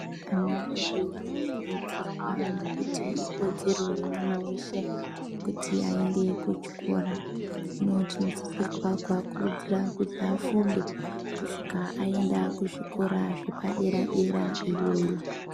Ana edu anokurudzirwa nekuti ikodzero yemwana weshe kuti ayende kuchikora, hino tinosisirwa kuakurudzira kuti afunde kusvika ayenda kuzvikora zvepadera-dera iyoyo.